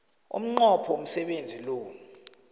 umnqopho womsebenzi lo